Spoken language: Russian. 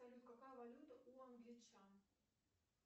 салют какая валюта у англичан